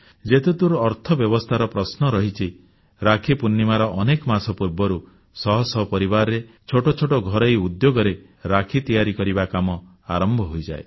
ଯେତେଦୂର ଅର୍ଥବ୍ୟବସ୍ଥାର ପ୍ରଶ୍ନ ରହିଛି ରାକ୍ଷୀ ପୂର୍ଣ୍ଣିମାର ଅନେକ ମାସ ପୂର୍ବରୁ ଶହ ଶହ ପରିବାରରେ ଛୋଟ ଛୋଟ ଘରୋଇ ଉଦ୍ୟୋଗରେ ରାକ୍ଷୀ ତିଆରି କରିବା କାମ ଆରମ୍ଭ ହୋଇଯାଏ